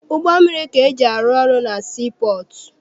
Ụgbọ mmiri ka eji arụ ọrụ na sii pọọtụ.